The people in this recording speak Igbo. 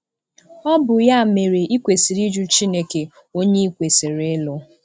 Ọ bụ ya mere i kwesịrị ịjụ CHINEKE ONYE i kwesịrị ịlụ!